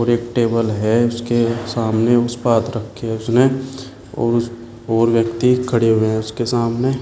और एक टेबल है उसके सामने। उसपे हाथ रखी है उसने और उस और व्यक्ति खड़े हुए हैं उसके सामने।